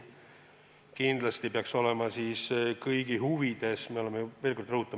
Kindlasti peaks olema kõigi huvides, et taastuvenergia osakaal suureneb.